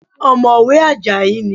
Ọ̀mọ̀wé Àjàyí ni